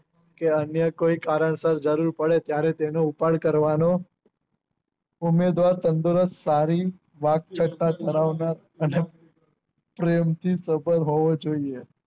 કે અમને કોઈ કારણસર જરૂર પડે ત્યારે તેનો ઉપાડ કરવાનો સારી વાત ધરાવતા અને પ્રેમ સ્વભાવ હોવો જોઈએ